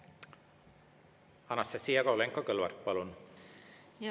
Anastassia Kovalenko-Kõlvart, palun!